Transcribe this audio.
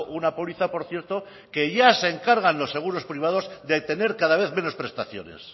una póliza por cierto que ya se encargan los seguros privados de tener cada vez menos prestaciones